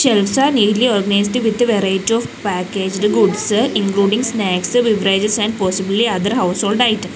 shelves are neatly organised with variety of packaged goods including snacks beverages and possibly other household items.